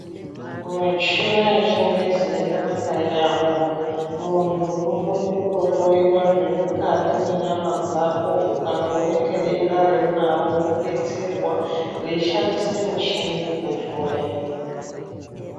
Michina yechingezi yakanaka yaamho. Muntu unokone kutohloyiwa zviri mukati mwenyama dzako ukatooneke denda reunaro wodetserwa veishandisa michini kukuhloya.